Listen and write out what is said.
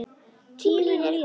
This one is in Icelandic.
Tíminn líður.